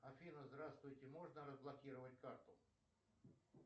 афина здравствуйте можно разблокировать карту